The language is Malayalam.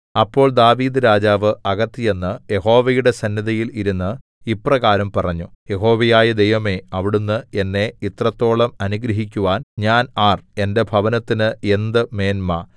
അപ്പോൾ ദാവീദ്‌ രാജാവ് അകത്ത് ചെന്ന് യഹോവയുടെ സന്നിധിയിൽ ഇരുന്ന് ഇപ്രകാരം പറഞ്ഞു യഹോവയായ ദൈവമേ അവിടുന്ന് എന്നെ ഇത്രത്തോളം അനുഗ്രഹിക്കുവാൻ ഞാൻ ആർ എന്റെ ഭവനത്തിന് എന്ത് മേന്മ